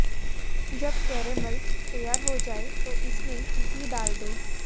जब कैरेमल तैयार हो जाए तो इसमें घी डाल दें